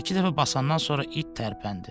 Bir-iki dəfə basandan sonra it tərpəndi.